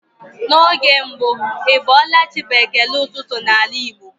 N'oge mbụ "Ị bọọla chi" bụ ekele ụtụtụ n'ala Igbo.